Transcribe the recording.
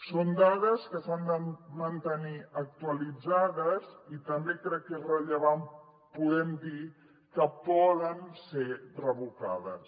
són dades que s’han de mantenir actualitzades i també crec que és rellevant podem dir que poden ser revocades